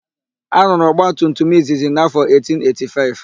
A rụrụ ọgbatumtum izizi n'áfọ 1885.